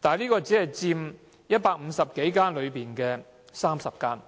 但這些龕場只佔150多家內的30家。